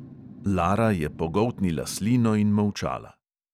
Lara je pogoltnila slino in molčala.